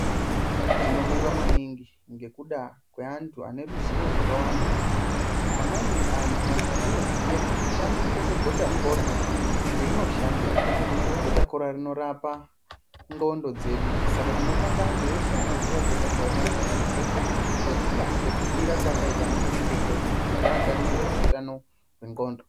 Tinobonga maningi ngekuda kweanhu ane ruziwo rwakawanda amweni antu anoziya kushandiswa kwegotakora kuti rinoshandeyi, gotakora rinorapa nxlondo dzedu saka tinobonga anhu eshe anoziya gotakora neimweni mitombo ngekuda kwekubhuyira kwaakaita anamazvikokota kuti agadzire utano hwenxlondo.